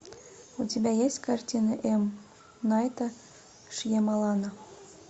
у тебя есть картины м найта шьямалана